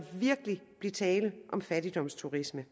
virkelig blive tale om fattigdomsturisme